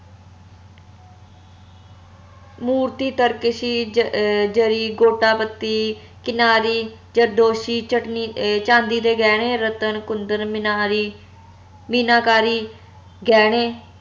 ਮੂਰਤੀ ਤਰਕਸ਼ੀ ਅਹ ਜਰੀ ਗੋਟਾ ਪੱਤੀ ਕਿਨਾਰੀ ਜਰਦੋਸ਼ੀ ਚਟਨੀ ਚੰਡੀ ਦੇ ਗਹਿਣੇ ਰਤਨ ਕੁੰਦਨ ਮਿਨਾਰੀ ਮੀਨਾਕਾਰੀ ਗਹਿਣੇ